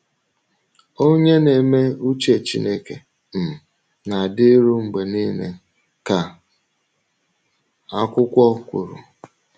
“Onye na-eme ùchè Chínèké um na-adịru mgbe niile,” ka akwụkwọ kwùrù.